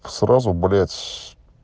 сразу бред